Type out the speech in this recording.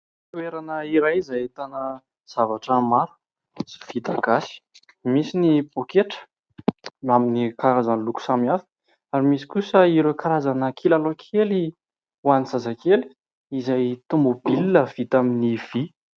Toerana iray izay ahitana zavatra maro sy vita gasy. Misy ny paoketra amin'ny karazany loko samihafa ary misy kosa ireo karazana kilalao kely ho an'ny zazakely izay"automobile" vita amin'ny vy.